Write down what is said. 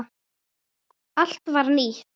Allt var nýtt.